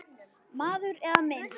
Maður eða mynd